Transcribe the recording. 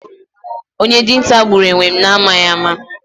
Onye dinta gburu enwem na amaghi ama